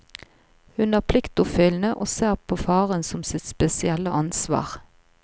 Hun er pliktoppfyllende og ser på faren som sitt spesielle ansvar.